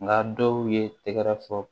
Nka dɔw ye tɛgɛrɛ fɔ